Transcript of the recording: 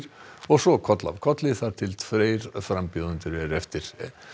og svo koll af kolli þar til tveir frambjóðendur eru eftir